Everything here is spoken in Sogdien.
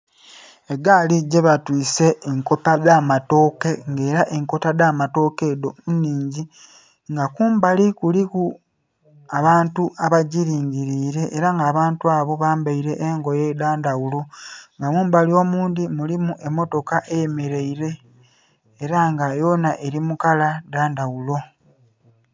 Egaali gyebatwiise enkota dh'amatooke nga ela enkota dh'amatooke edho nnhingi. Nga kumbali kuliku abantu abagilingiliile ela nga abantu abo bambaile engoye dha ndhaghulo. Nga mumbali omundhi mulimu emmotoka eyemeleile, ela nga yona eli mu kala dha ndhaghulo.